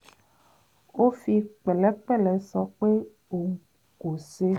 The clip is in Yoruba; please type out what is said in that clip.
ó fi pẹ̀lẹ́pẹ̀lẹ́ sọ pé òun kò ṣe